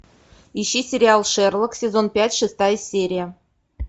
ищи сериал шерлок сезон пять шестая серия